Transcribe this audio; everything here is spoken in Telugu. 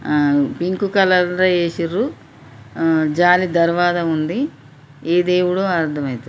అం పింక్ కలర్ లో ఎసిన్రు అం జాలి దరవాజా వుంది ఏ దేవుడో అర్ధమయిత--